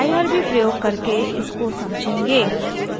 irb प्रयोग करके इसको समझेंगे